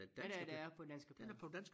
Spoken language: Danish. Nej nej den er på danske plader